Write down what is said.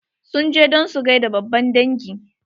Sun je don su gaida babban dangi.